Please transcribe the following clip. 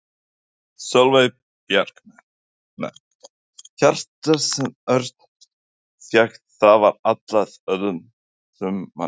Sólveig Bergmann: Hjartað sem Örn fékk það var ætlað öðrum manni?